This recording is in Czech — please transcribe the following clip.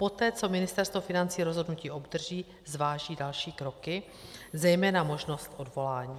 Poté co Ministerstvo financí rozhodnutí obdrží, zváží další kroky, zejména možnost odvolání.